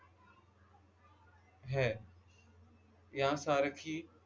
है या सारखी